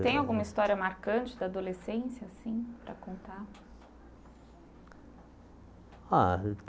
Tem alguma história marcante da adolescência assim para contar? Ah